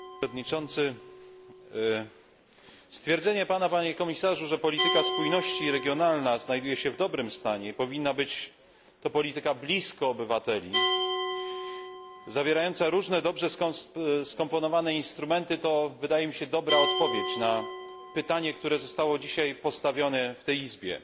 Panie przewodniczący! Stwierdzenie pana, panie komisarzu, że polityka spójności i regionalna znajduje się w dobrym stanie i powinna być to polityka blisko obywateli, zawierająca różne, dobrze skomponowane instrumenty, to wydaje mi się dobra odpowiedź na pytanie, które zostało dzisiaj postawione w tej Izbie.